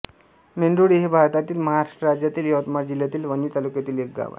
मेंढोळी हे भारतातील महाराष्ट्र राज्यातील यवतमाळ जिल्ह्यातील वणी तालुक्यातील एक गाव आहे